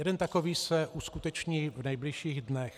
Jeden takový se uskuteční v nejbližších dnech.